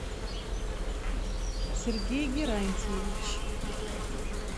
сергей герантьевич